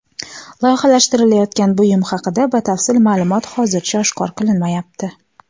Loyihalashtirilayotgan buyum haqida batafsil ma’lumot hozircha oshkor qilinmayapti.